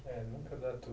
É, nunca dá